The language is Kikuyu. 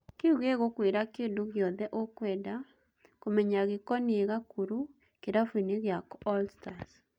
Kĩu gĩgũkwĩra kĩndũ gĩothe ũkwenda kũmenya gĩkoniĩ Gakuru kĩrabuinĩ gĩa All-Stars.